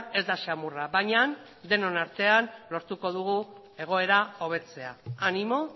ez da samurra baina denon artean lortuko dugu egoera hobetzea animo